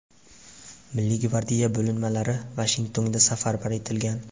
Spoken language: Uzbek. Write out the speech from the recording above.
Milliy gvardiya bo‘linmalari Vashingtonga safarbar etilgan.